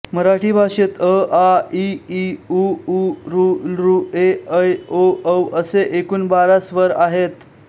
मराठी भाषेत अआइईउऊऋऌएऐओऔ असे एकूण बारा स्वर आहेत